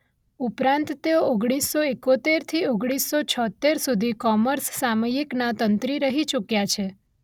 ઉપરાંત તેઓ ઓગણીસ સો એકોતેરથી ઓગણીસ સો છોતેર સુધી ‘કૉમર્સ’ સામયિકના તંત્રી રહી ચુક્યા છે.